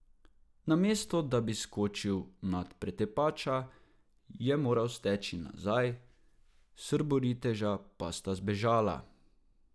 Namesto, da bi skočil nad pretepača, je moral steči nazaj, srboriteža pa sta zbežala.